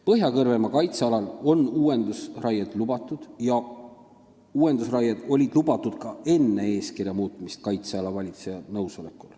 Põhja-Kõrvemaa kaitsealal on uuendusraied lubatud, need olid kaitseala valitseja nõusolekul lubatud ka enne eeskirja muutmist.